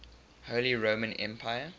holy roman empire